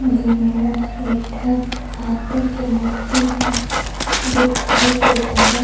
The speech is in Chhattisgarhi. दे मेरन एक ठ हाथी के मूर्ति ह दिखाई देत हवे।